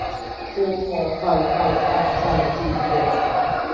H A L L F R I D